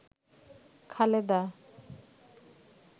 Khaleda